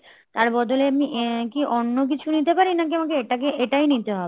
তার বদলে এমনি আ~ কি অন্য কিছু নিতে পারি নাকি আমাকে এটাকে এটাই নিতে হবে?